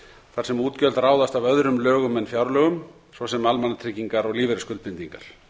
þar sem útgjöld ráðast af öðrum lögum en fjárlögum svo sem almannatryggingar og lífeyrisskuldbindingar